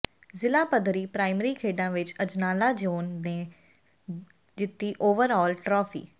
ਜਿਲਾਪੱਧਰੀ primary ਖੇਡਾਂ ਵਿੱਚ Ajnala zone ਨੇ ਜਿੱਤੀ ਓਵਰ ਆਲ ਟਰਾਫੀ